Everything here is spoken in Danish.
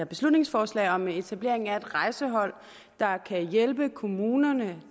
beslutningsforslag om etablering af et rejsehold der kan hjælpe kommunerne